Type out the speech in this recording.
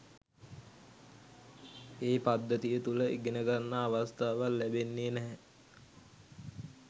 ඒ පද්ධතිය තුල ඉගනගන්න අවස්ථාවක් ලැබෙන්නේ නැහැ